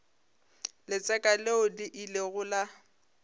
letseka leo le ilego la